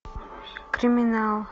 криминал